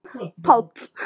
Páll